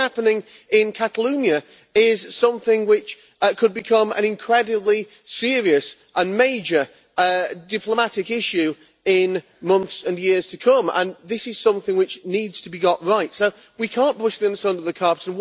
What is happening in Catalonia is something which could become an incredibly serious and major diplomatic issue in months and years to come and this is something which needs to be got right. We cannot brush this under the carpet.